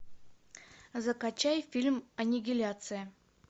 закачай фильм аннигиляция